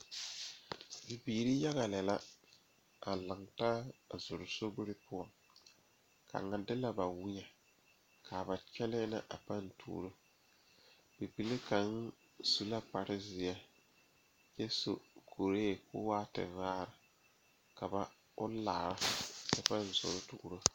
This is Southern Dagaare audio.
Bibiiri yaga lɛ la a ne Pɔgeba la be sori kaŋa poɔ ka teere yaga yaga a be a be ka yiri kaŋa meŋ are a ba puori kyɛ kaa bie kaŋa seɛ kuri a su kparo ko'o zage zage kyɛ koo wiɛ o nyɛmɛ a bare.